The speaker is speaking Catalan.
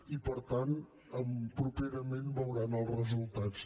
i per tant properament veuran els resultats